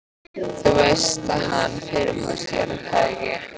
Þú veist að hann. fyrirfór sér, er það ekki?